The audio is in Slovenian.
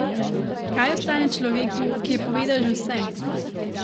Kaj ostane človeku, ki je povedal že vse?